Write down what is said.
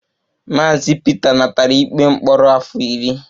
Mr Peter natara ikpe mkpọrọ afọ iri